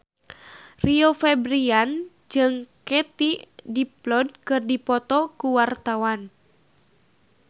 Rio Febrian jeung Katie Dippold keur dipoto ku wartawan